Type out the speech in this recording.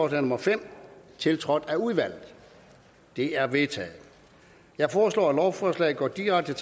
nummer fem tiltrådt af udvalget det er vedtaget jeg foreslår at lovforslaget går direkte